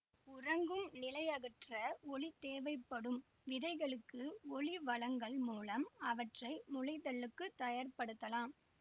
உறங்கும் நிலையகற்ற ஒளி தேவைப்படும் விதைகளுக்கு ஒளி வழங்கல் மூலம் அவற்றை முளைத்தலுக்குத் தயார்ப்படுத்தலாம்